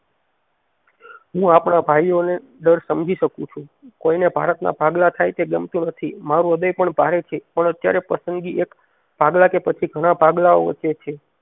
હું આપણા ભાઈયો ને ડર સમજી શકું છું કોઈ ને ભારત ના ભાગલા થાય તે ગમતું નથી મારુ હૃદય પણ ભારે છે પણ અત્યારે પ્રસંગી એક ભાગલા કે પછી ઘણા ભાગલાઓ વચ્ચે છે